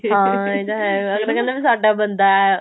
ਹਾਂ ਇਹ ਤਾਂ ਹੈ ਅਗਲਾ ਕਹਿੰਦਾ ਸਾਡਾ ਬੰਦਾ